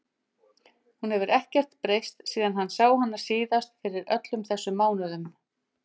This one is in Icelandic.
Hún hefur ekkert breyst síðan hann sá hana síðast fyrir öllum þessum mánuðum.